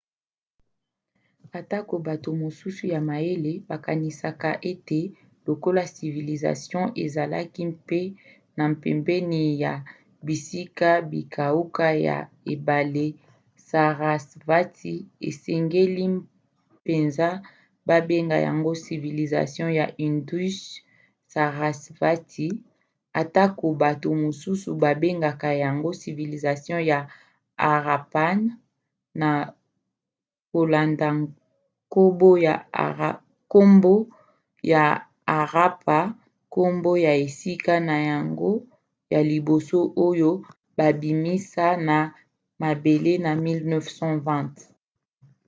atako bato mosusu ya mayele bakanisaka ete lokola civilisation ezalaki mpe na pembeni ya bisika bikauka ya ebale sarasvati esengeli mpenza babenga yango civilisation ya indus-sarasvati atako bato mosusu babengaka yango civilisation ya harappan na kolanda nkombo ya harappa nkombo ya esika na yango ya liboso oyo babimisa na mabele na 1920